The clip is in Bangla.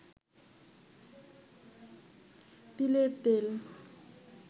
তিলের তেল